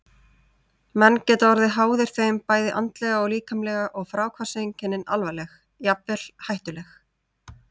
Menn geta orðið háðir þeim bæði andlega og líkamlega og fráhvarfseinkennin alvarleg, jafnvel hættuleg.